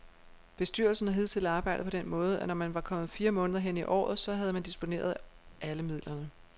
Bestyrelsen har hidtil arbejdet på den måde, at når man var kommet fire måneder hen i året, så havde man disponeret alle midlerne.